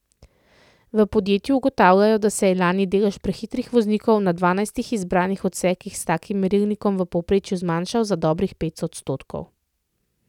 V podjetju ugotavljajo, da se je lani delež prehitrih voznikov na dvanajstih izbranih odsekih s takim merilnikom v povprečju zmanjšal za dobrih pet odstotkov.